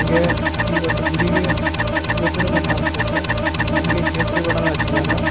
ಹಂಗೆ ಈ ವೊಂದು ಗುಡಿಗೆ ಗೋಪುರನು ಕಾಣಿಸ್ತಾಯಿತೇ ಹಂಗೆ ಕೇಸರಿ ಬಣ್ಣವನ್ನು ಹಚ್ಚಿದ್ದಾರಾ.